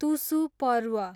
तुसु पर्व